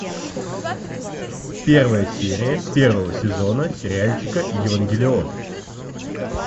первая серия первого сезона сериальчика евангелион